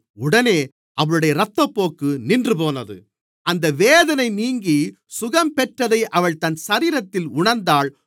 உடனே அவளுடைய இரத்தப்போக்கு நின்றுபோனது அந்த வேதனை நீங்கி சுகம் பெற்றதை அவள் தன் சரீரத்தில் உணர்ந்தாள்